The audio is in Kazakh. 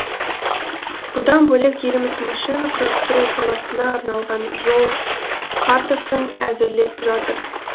бұдан бөлек еліміз машина құрастыру саласына арналған жол картасын әзірлеп жатыр